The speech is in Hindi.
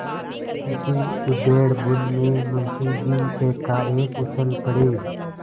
इसी उधेड़बुन में मुंशी जी एकाएक उछल पड़े